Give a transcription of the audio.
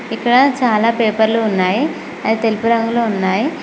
ఇక్కడ చాలా పేపర్లు ఉన్నాయి అవి తెలుపు రంగులో ఉన్నాయి.